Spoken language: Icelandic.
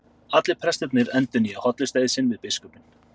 Allir prestarnir endurnýja hollustueið sinn við biskupinn.